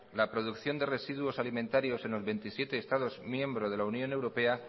la producción de residuos alimentarios en los veintisiete estados miembros de la unión europea